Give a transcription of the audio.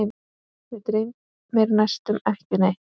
Mig dreymir næstum ekki neitt.